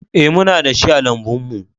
Ee, muna da shi a lambun mu